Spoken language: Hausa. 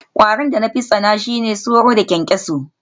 My worst insects are mosquitoes and cockroaches